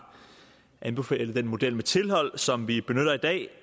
anbefalet den model med tilhold som vi benytter i dag